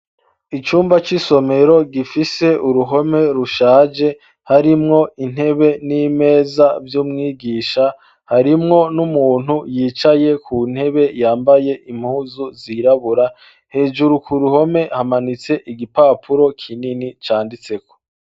Icyumba c'isomero gifise uruhome rushaje harimwo intebe n'imeza vy'umwigisha; harimwo n'umuntu yicaye ku ntebe yambaye impuzu zirabura ; hejuru ku ruhome hamanitse igipapuro kinini canditseko.